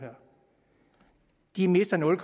de mister nul